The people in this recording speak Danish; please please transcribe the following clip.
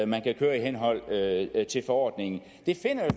man kan køre i henhold til forordningen det finder jo